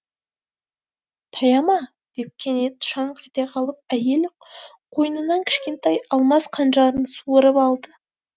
таяма деп кенет шаңқ ете қалып әйел қойнынан кішкентай алмас қанжарын суырып алды